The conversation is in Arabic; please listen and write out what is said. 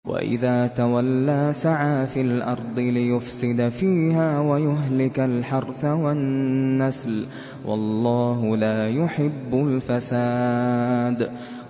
وَإِذَا تَوَلَّىٰ سَعَىٰ فِي الْأَرْضِ لِيُفْسِدَ فِيهَا وَيُهْلِكَ الْحَرْثَ وَالنَّسْلَ ۗ وَاللَّهُ لَا يُحِبُّ الْفَسَادَ